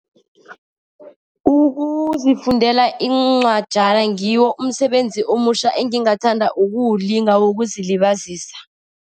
Ukuzifundela iincwajana ngiwo umsebenzi omutjha engingathanda ukuwulinga, wokuzilibazisa.